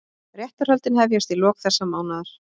Réttarhöldin hefjast í lok þessa mánaðar